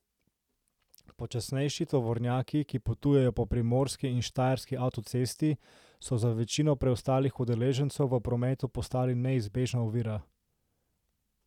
Počasnejši tovornjaki, ki potujejo po primorski in štajerski avtocesti, so za večino preostalih udeležencev v prometu postali neizbežna ovira.